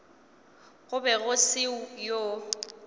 go be go se yoo